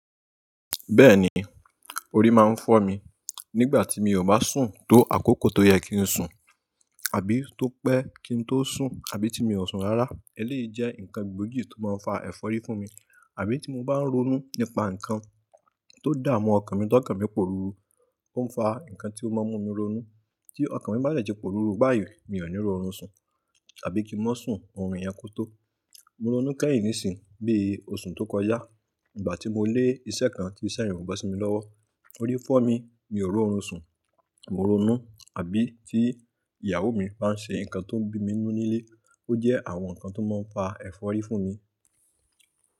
Bẹ́ẹ̀ni, orí máa ń fọ́ mi nígbà tí mi ò bá sùn tó àkókò tó yẹ kí n sùn àbí tọ́pẹ́ kí n tó sùn àbí tí mi ò sùn rárá. Eléyìí jẹ́ ǹkan gbógi tó máa ń fa ẹ̀fọ́rí fún mi. Àbí tí mo bá ń ronú nípa ǹkan tó dà mú ọkàn mi ti ọkàn mi n pòrùru, ó ń fa ǹkan tí ó máa ń mú mi ronú. Tí ọkàn mi bá dẹ̀ ti pòrùru báyìí mi ò ní ri orun sùn àbí kí n mó sùn, orun yẹn kò tó. Mo ronú kẹ́yìn nísìí, bí i oṣù tó kọjá, nígbà tí mo lé iṣẹ́ kan tí iṣẹ́ yẹ̀ ò bo sí mi lọ́wọ́, orí fọ́ mi, mi ò ri orun sùn, mo ronú. Àbí tí ìyàwó mi bá ń ṣe ǹkan tó ń bí mi ninu nílé ó jẹ́ àwọn ǹkan tó máa ń fa ẹ̀fọ́rí fún mi.